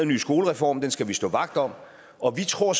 ny skolereform den skal vi stå vagt om og vi tror